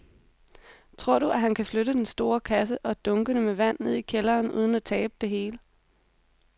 Tror du, at han kan flytte den store kasse og dunkene med vand ned i kælderen uden at tabe det hele?